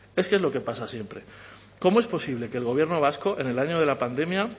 es que es lo que pasa siempre cómo es posible que el gobierno vasco en el año de la pandemia